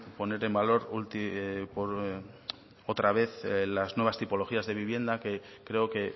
poner en valor otra vez las nuevas tipologías de vivienda que creo que